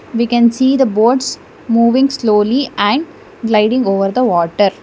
we can see the boats moving slowly and liding over the water.